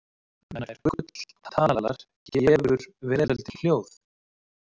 Nær gull talar gefur veröldin hljóð.